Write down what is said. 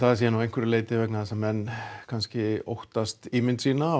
það sé vegna þess að menn óttast ímynd sína